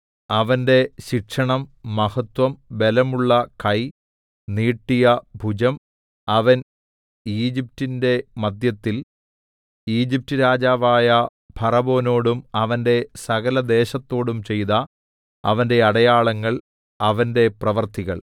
അവന്റെ ശിക്ഷണം മഹത്വം ബലമുള്ള കൈ നീട്ടിയ ഭുജം അവൻ ഈജിപ്റ്റിന്റെ മദ്ധ്യത്തിൽ ഈജിപ്റ്റ് രാജാവായ ഫറവോനോടും അവന്റെ സകലദേശത്തോടും ചെയ്ത അവന്റെ അടയാളങ്ങൾ അവന്റെ പ്രവൃത്തികൾ